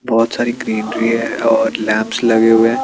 बहोत सारी क्रीम भी हैं और लैम्प्स भी हैं।